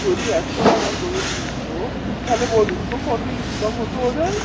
যদি একশো টাকা করে নিতো তালে বলুনতো কত income হতো ওদের